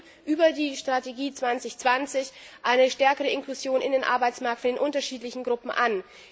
Wir streben über die Strategie 2020 eine stärkere Inklusion in den Arbeitsmarkt für die unterschiedlichen Gruppen an.